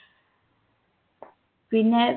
പിന്നെ